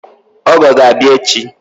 Ọgọ ga-abịa echi